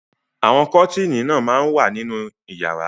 Àwọn kọ́tíínì náà máa ń wà nínú ìyàrá.